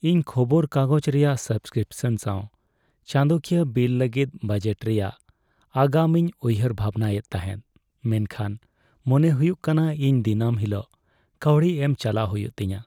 ᱤᱧ ᱠᱷᱚᱵᱚᱨ ᱠᱟᱜᱚᱡᱽ ᱨᱮᱭᱟᱜ ᱥᱟᱵᱽᱥᱠᱨᱤᱯᱥᱚᱱ ᱥᱟᱶ ᱪᱟᱸᱫᱚᱠᱤᱭᱟᱹ ᱵᱤᱞ ᱞᱟᱹᱜᱤᱫ ᱵᱟᱡᱮᱴ ᱨᱮᱭᱟᱜ ᱟᱜᱟᱢ ᱤᱧ ᱩᱭᱦᱟᱹᱨᱼᱵᱷᱟᱵᱽᱱᱟ ᱮᱫ ᱛᱟᱦᱮᱸᱫ, ᱢᱮᱱᱠᱷᱟᱱ ᱢᱚᱱᱮ ᱦᱩᱭᱩᱜ ᱠᱟᱱᱟ ᱤᱧ ᱫᱤᱱᱟᱹᱢ ᱦᱤᱞᱳᱜ ᱠᱟᱹᱣᱰᱤ ᱮᱢ ᱪᱟᱞᱟᱣ ᱦᱩᱭᱩᱜ ᱛᱤᱧᱟᱹ ᱾